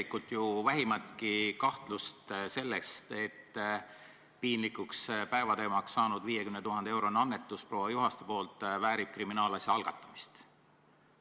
Pole ju vähimatki kahtlust selles, et piinlikuks päevateemaks saanud 50 000-eurone annetus proua Juhastelt väärib kriminaalasja algatamist.